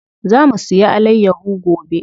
Za mu siya alayyaho gobe.